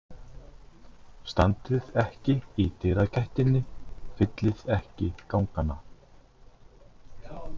Standið ekki í dyragættinni, fyllið ekki gangana.